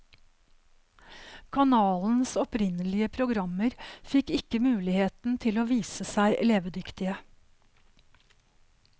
Kanalens opprinnelige programmer fikk ikke muligheten til å vise seg levedyktige.